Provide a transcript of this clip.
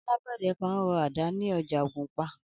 Alágbẹ̀dẹ kan ń rọ àdá ni ọjà Ògùnpa